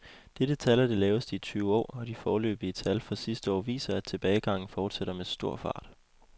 Dette tal er det laveste i tyve år, og de foreløbige tal for sidste år viser, at tilbagegangen fortsætter med stor fart.